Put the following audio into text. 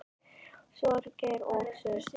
Sorgir og sút